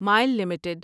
مائل لمیٹڈ